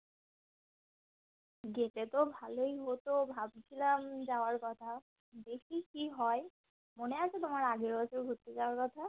যেতে তো ভালই হতো ভাবছিলাম যাওয়ার কথা দেখি কি হয় মনে আছে তোমার আগের বছর ঘুরতে যাওয়ার কথা